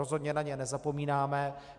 Rozhodně na ně nezapomínáme.